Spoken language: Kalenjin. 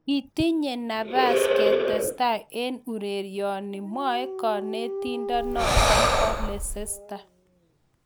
"Kitinye nabas ketestai eng ureryoni", mwae kanetindenoto bo Leicester